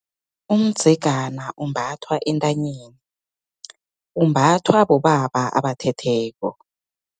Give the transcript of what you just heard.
Umdzegana, umbathwa entanyeni, umbathwa bobaba abathetheko.